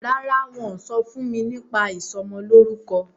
ràrá wón sọfún mí nípa ìsomo lórúko